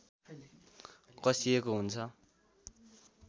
कसिएको हुन्छ